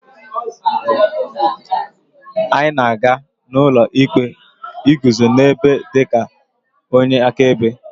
anyị na-aga n'ụlọ ikpe iguzo n'ebe dị ka onye akaebe